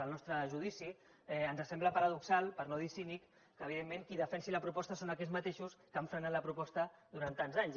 al nostre judici ens sembla paradoxal per no dir cínic que evidentment qui defensi la proposta siguin aquells mateixos que han frenat la proposta durant tants anys